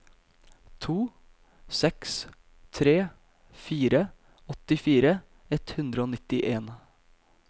to seks tre fire åttifire ett hundre og nittien